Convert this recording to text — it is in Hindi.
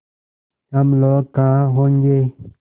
हम लोग कहाँ होंगे